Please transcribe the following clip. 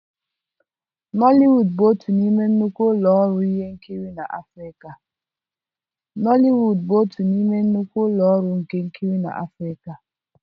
nollywood bụ otu n'ime nnukwu ụlọ ọrụ ihe nkiri na Afirika.